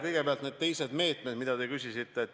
Kõigepealt need teised meetmed, mille kohta te küsisite.